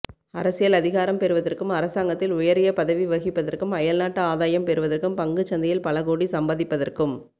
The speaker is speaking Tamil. அரசியல் அதிகாரம் பெறுவதற்கும் அரசாங்கத்தில் உயரிய பதவி வகிப்பதற்கும் அயல்நாட்டு ஆதாயம் பெறுவதற்கும் பங்குச் சந்தையில் பல கோடி சம்பாதிப்பதற்கும்